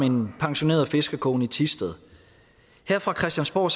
en pensioneret fiskerkone i thisted her fra christiansborg